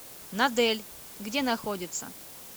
надэль где находится